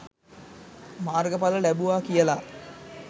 මාර්ගඵල ලැබුවා කියලා